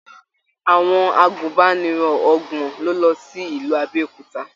Àwọn àgùnbánirọ̀ ọgbọn lo lọ sí ìlú Abéòkúta.